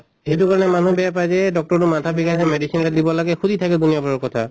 সেইটো কাৰণে মানুহ বেয়া পায় যে এহ doctor টো মাথা বিষাইছে medicine এটা দিব লাগে সুধি থাকে দুনীয়া ভৰৰ কথা।